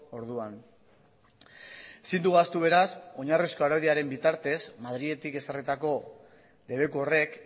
orduan ezin dugu ahaztu beraz oinarrizko araudiaren bitartez madriletik ezarritako debeku horrek